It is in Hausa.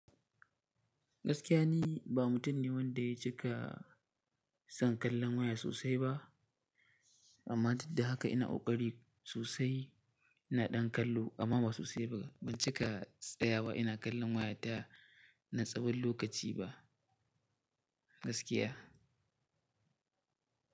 Gaskiya ni, ba mutum ne wanda ya cika son kallon waya sosai ba. Amma duk da haka ina ƙoƙari sosai. Ina ɗan kallo amma ba sosai ba. Ban cika tsayawa ina kallon waya ta na tsawon lokaci ba gaskiya.